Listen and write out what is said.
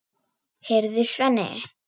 Heyrðu, Svenni!